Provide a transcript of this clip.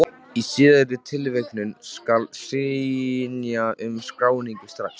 Í síðari tilvikinu skal synja um skráningu strax.